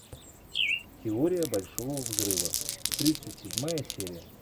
теория большого взрыва тридцать седьмая серия